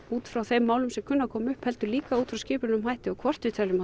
út frá þeim málum sem kunna að koma upp heldur líka út frá skipulögðum hætti og hvort við þurfum